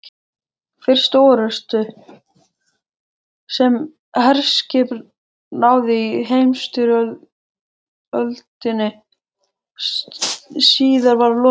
Fyrstu orrustu, sem herskip háðu í heimsstyrjöldinni síðari, var lokið